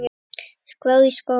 skrá í skóla?